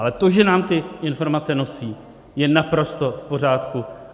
Ale to, že nám ty informace nosí, je naprosto v pořádku.